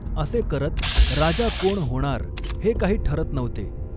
असे करत राजा कॊण हॊणार, हे काही ठरत नव्हते.